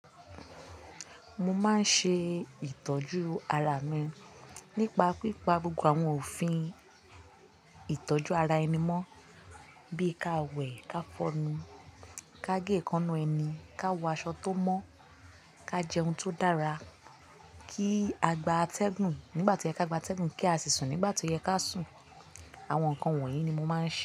Mo máa ń ṣe ìtọ́jú ara mi nípa pípa gbogbo àwọn òfin ìtọ́jú ara ẹni mọ́ bíi ká wẹ̀, ká fọnu, ká gé èékánná ẹni, ká wọ aṣọ tó mọ́, ká jẹ ohun tó dára, kí a gba atẹ́gùn nígbà tí ó yẹ ká gba atẹ́gùn, kí á sì sùn nígbà tí ó yẹ ká sùn. Àwọn nǹkan wọ̀nyí ni mo máa ń ṣe.